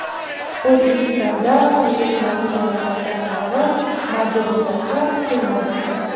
O‘zbekistonda qurilish materiallari tarmog‘i modernizatsiya qilinadi.